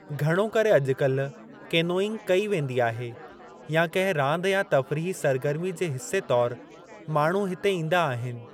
घणो करे अॼुकाल्हि केनोइंग कई वेंदी आहे या कंहिं रांदि या तफ़रीही सरगर्मी जे हिसे तौरु माण्हू हिते ईंदा आहिनि।